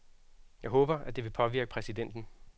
Jeg håber, at det vil påvirke præsidenten.